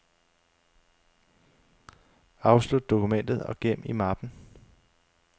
Afslut dokumentet og gem i mappen.